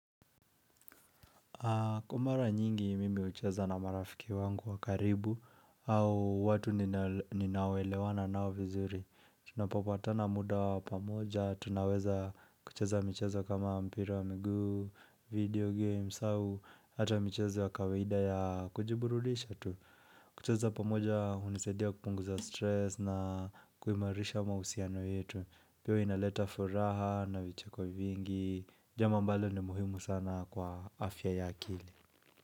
Kwa mara nyingi mimi hucheza na marafiki wangu wa karibu au watu ninaoelewana nao vizuri. Tunapopatana muda wa pamoja, tunaweza kucheza mchezo kama mpira wa miguu, video games au hata michezo ya kawaida ya kujibururisha tu. Kucheza pamoja hunisaidia kupunguza stress na kuimarisha mahusiano yetu. Pia huwa inaleta furaha na vicheko vingi Jambo ambalo ni muhimu sana kwa afya ya akili.